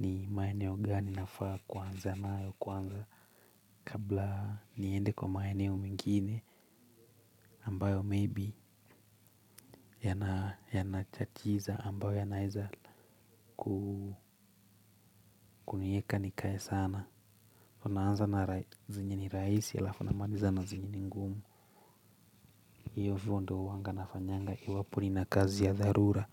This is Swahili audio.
ni maeneo gani nafaa kuanza nayo kwanza kabla niende kwa maeneo mengine ambayo maybe yanatatiza ambayo yanaweza kunieka nikae sana unaanza na zenye ni rahisi alafu unamaliza na zenye ni ngumu. Hivo ndo huanga nafanyanga iwapo nina kazi ya dharura.